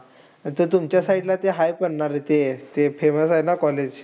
ते तुमच्या side ला हाय पण ना रे ते. ते famous आहे ना ते college.